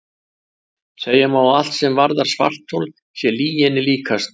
Segja má að allt sem varðar svarthol sé lyginni líkast.